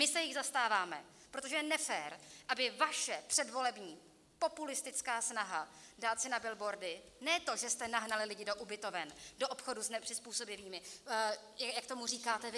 My se jich zastáváme, protože je nefér, aby vaše předvolební populistická snaha dát si na billboardy ne to, že jste nahnali lidi do ubytoven, do obchodu s nepřizpůsobivými, jak tomu říkáte vy.